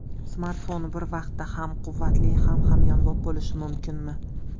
Smartfon bir vaqtda ham quvvatli, ham hamyonbop bo‘lishi mumkinmi?